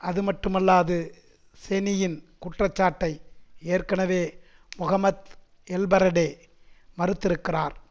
அதுமட்டுமல்லாது செனியின் குற்றச்சாட்டை ஏற்கனவே முஹம்மத் எல்பரடே மறுத்திருக்கிறார்